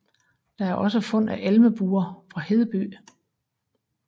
Der er også fund af elmebuer fra Hedeby